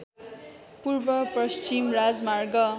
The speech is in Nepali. पूर्वपश्चिम राजमार्ग